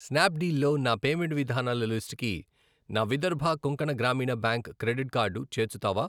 Snap deal లో నా payment విధానాల లిస్టుకి నా విదర్భ కొంకణ గ్రామీణ బ్యాంక్ క్రెడిట్ కార్డు చేర్చుతావా?